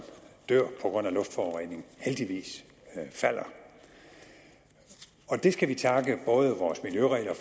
dør på grund af luftforurening heldigvis falder det skal vi takke både vores miljøregler